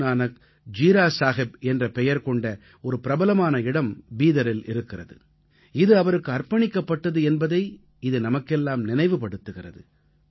குருநானக் ஜீரா சாஹப் என்ற பெயர் கொண்ட ஒரு பிரபலமான இடம் பீதரில் இருக்கிறது இது அவருக்கு அர்ப்பணிக்கப்பட்டது என்பதை இது நமக்கெல்லாம் நினைவு படுத்துகிறது